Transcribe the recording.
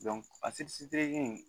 a